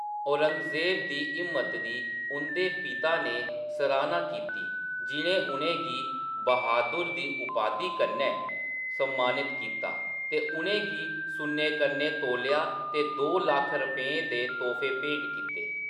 औरंगज़ेब दी हिम्मत दी उं'दे पिता ने सराह्‌ना कीती, जि'नें उ'नेंगी बहादुर दी उपाधि कन्नै सम्मानत कीता ते उ'नें गी सुन्ने कन्नै तोलेआ ते दो लक्ख रपेंऽ दे तोह्‌फे भेंट कीते ।